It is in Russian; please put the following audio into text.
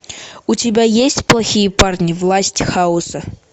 у тебя есть плохие парни власть хаоса